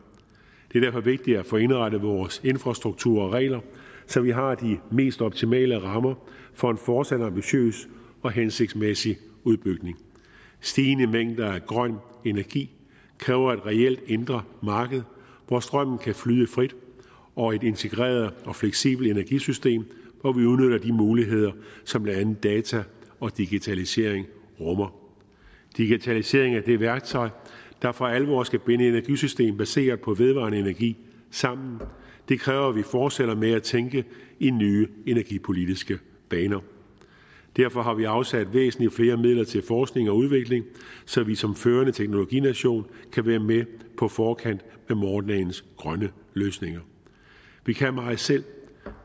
det er derfor vigtigt at få indrettet vores infrastruktur og regler så vi har de mest optimale rammer for en fortsat ambitiøs og hensigtsmæssig udbygning stigende mængder af grøn energi kræver et reelt indre marked hvor strømmen kan flyde frit og et integreret og fleksibelt energisystem hvor vi udnytter de muligheder som blandt andet data og digitalisering rummer digitalisering er det værktøj der for alvor skal binde energisystem baseret på vedvarende energi sammen og det kræver at vi fortsætter med at tænke i nye energipolitiske baner derfor har vi afsat væsentlig flere midler til forskning og udvikling så vi som førende teknologination kan være med på forkant med morgendagens grønne løsninger vi kan meget selv